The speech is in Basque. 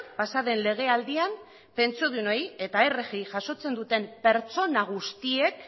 pasaden legealdian pentsiodunei eta rgi jasotzen duten pertsona guztiek